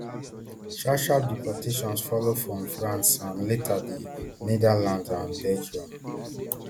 sharpsharp deportations follow from france and later di netherlands and belgium